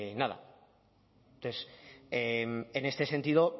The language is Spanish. nada entonces en este sentido